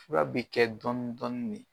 Fura be kɛ dɔn dɔni ne